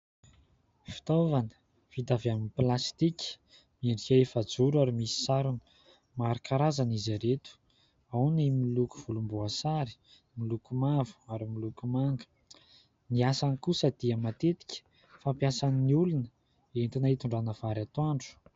Fitaovana vita avy amin'ny plastika. Miendrika efajoro ary misy sarony. Maro karazana izy ireto, ao ny miloko volomboasary, miloko mavo ary miloko manga ; ny asany kosa dia matetika fampiasan'ny olona entina hitondràna vary atoandro.